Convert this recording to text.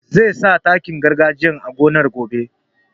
Zai sa takin gargajiya a gonar gobe